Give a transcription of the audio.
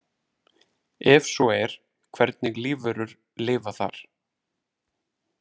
Ef svo er hvernig lífverur lifa þar?